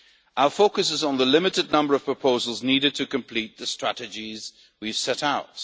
adopted. Our focus is on the limited number of proposals needed to complete the strategies we have